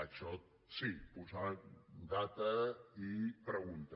això sí posar data i pregunta